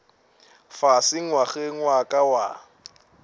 fase ngwageng wa ka wa